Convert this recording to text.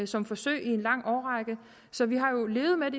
som forsøg i en lang årrække så vi har jo levet med